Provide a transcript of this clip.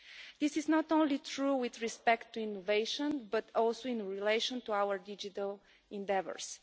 This is not only true with respect to innovation, but also in relation to our digital endeavours.